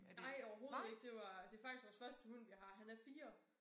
Nej overhovedet ikke det var det faktisk vores første hund vi har. Han er 4